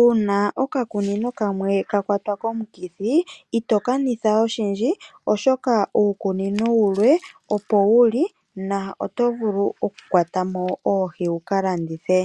uuna oka kunino kamwe ka kwatwa komukithi ito kanitha oshindji . Oshoka uukunino wumwe opo wuli na oto vulu oku kwatamo oohi wuka landithe.